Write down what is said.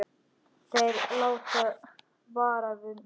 Þeir láta vara við mér.